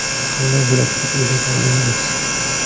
Qanday bo‘ladi deb o‘ylagandingiz?